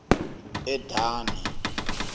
edani